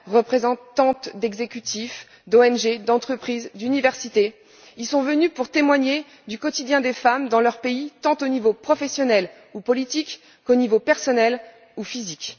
représentantes d'exécutifs, d'ONG, d'entreprises, d'universités, y sont venues pour témoigner du quotidien des femmes dans leur pays, tant au niveau professionnel ou politique qu'au niveau personnel ou physique.